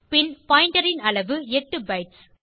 பின் பாயிண்டர் ன் அளவு 8 பைட்ஸ்